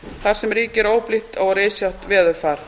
þar sem ríkir óblítt og rysjótt veðurfar